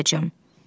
Niyə gələcəm?